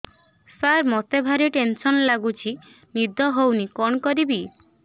ସାର ମତେ ଭାରି ଟେନ୍ସନ୍ ଲାଗୁଚି ନିଦ ହଉନି କଣ କରିବି